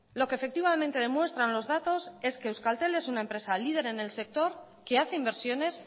lo que efectivamente demuestran los datos es que euskaltel es una empresa líder en el sector que hace inversiones